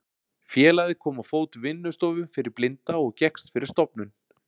Félagið kom á fót vinnustofu fyrir blinda og gekkst fyrir stofnun